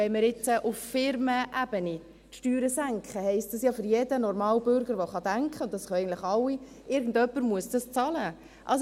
Wenn wir nun auf Firmenebene die Steuern senken, heisst das ja für jeden normalen Bürger, der denken kann – und das können eigentlich alle –, dass irgendjemand das bezahlen muss.